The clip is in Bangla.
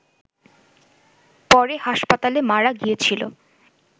পরে হাসপাতালে মারা গিয়েছিল